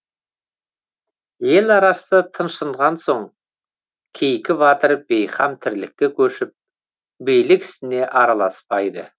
ел арасы тыншыған соң кейкі батыр бейқам тірлікке көшіп билік ісіне араласпайды